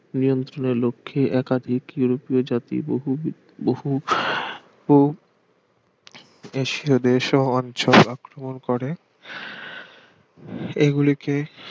নিয়ন্ত্রণের লক্ষ্যে একাধিক ইউরোপীয় জাতি বহুবিধ বহু বহু এশিয় দেশ ও অঞ্চল আক্রমণ করে এগুলিকে